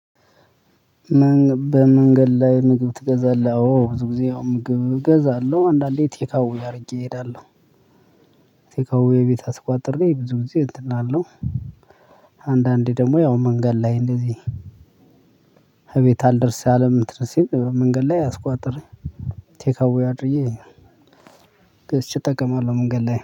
በመንገድ ላይ ምግብ ትገዛለህ አዎ ብዙ ጊዜ አዎ ምግብ እገዛለሁ አንዳንዴ ቴካዌ አድርጌ እሄዳለሁ። ቴካዌ ቤት አስቋጥሬ ብዙ ጊዜ እንትን እላለው። አንዳንዴ ደግሞ ያው መንገድ ላይ እንደዚህ። እቤት አልደርስ አለም እንትን ሲል መንገድ ላይ አስቋጥሬ። ቴካዌ አድርጌ ገዝቼ እጠቀማለሁ። መንገድ ላይ